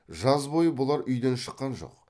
жаз бойы бұлар үйден шыққан жоқ